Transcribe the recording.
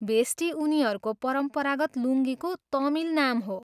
भेस्टी उनीहरूको परम्परागत लुङ्गीको तमिल नाम हो।